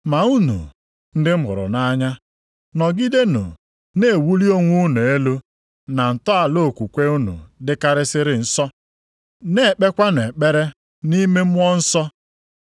Ma unu, ndị m hụrụ nʼanya, nọgidenụ na-ewuli onwe unu elu na ntọala okwukwe unu dịkarịsịrị nsọ. Na-ekpekwanụ ekpere nʼime Mmụọ Nsọ.